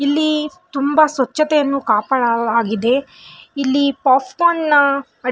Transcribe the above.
ಇಲ್ಲಿ ತುಂಬ ಸ್ವಚ್ಛತೆಯನ್ನು ಕಾಪಾಡಲಾಗಿದೆ ಇಲ್ಲಿ ಪಾಪ್ಕಾರ್ನ್ --